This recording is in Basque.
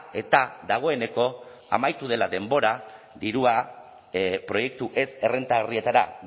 eta dagoeneko amaitu dela denbora dirua proiektu ez errentagarrietara